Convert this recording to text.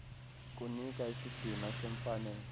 kunika isidima semfanelo